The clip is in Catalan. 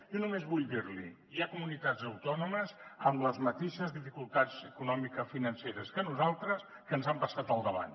jo només vull dir li que hi ha comunitats autònomes amb les mateixes dificultats economicofinanceres que nosaltres que ens han passat al davant